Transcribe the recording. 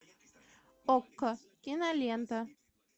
окко кинолента